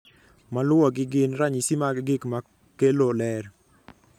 Maluwogi gin ranyisi mag gik makelo ler